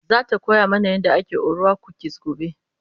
zata koya mana yadda ake orwa kukis gobe